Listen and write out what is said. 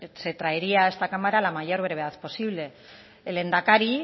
se traería a esta cámara a la mayor brevedad posible el lehendakari